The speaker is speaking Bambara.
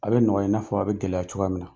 A bɛ nɔgɔya in n'a fɔ a bɛ gɛlɛya cogoya min na